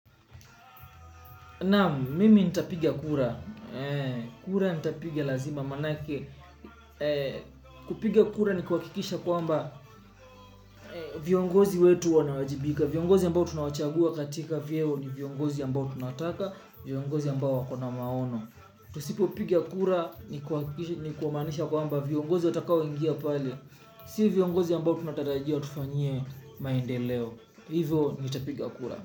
Naam, mimi nitapigia kura. Kura nitapiga lazima manake. Kupiga kura ni kuhakikisha kwamba viongozi wetu wanawajibika. Viongozi ambao tunawachagua katika vyeo ni viongozi ambao tunataka, viongozi ambao wako na maono. Tusipopiga kura ni kuhakikisha ni kumaanisha kwamba viongozi watakao ingia pale. Si viongozi ambao tunatarajia watufanyie maendeleo. Hivo nitapiga kura.